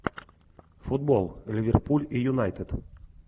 футбол ливерпуль и юнайтед